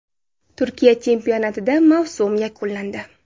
Turkiya chempionatida mavsum yakunlandi.